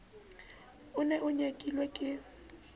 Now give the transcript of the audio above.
o ne o nyekilwe ke